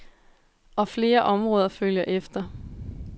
Og flere områder følger efter.